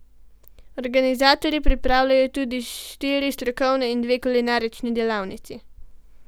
Organizatorji pripravljajo tudi štiri strokovne in dve kulinarični delavnici.